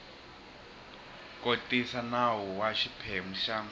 kotisa nawu wa xiphemu xa